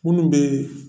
Minnu bɛ